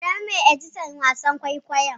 Adamu ne editan wasan kwaikwayon.